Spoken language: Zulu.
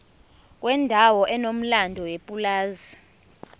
kwendawo enomlando yepulazi